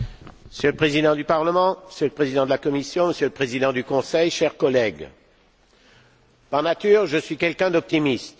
Monsieur le Président, Monsieur le Président de la Commission, Monsieur le Président du Conseil, chers collègues, par nature, je suis quelqu'un d'optimiste.